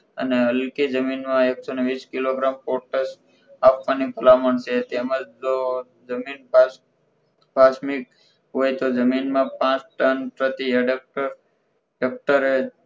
અને હલકે જમીનમાં એક સો વીસ કિલોગ્રામ પોટર આપવાની ભલામણ છે તેમજ જો જમીન પાસ પાંચ મિનિટ હોય તો જમીનમાં પાંચ ટન પ્રતિ હેડક્ટર એક્ટરે